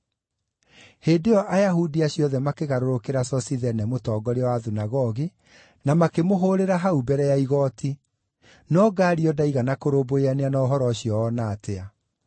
Hĩndĩ ĩyo Ayahudi acio othe makĩgarũrũkĩra Sosithene mũtongoria wa thunagogi, na makĩmũhũũrĩra hau mbere ya igooti. No Galio ndaigana kũrũmbũyania na ũhoro ũcio o na atĩa.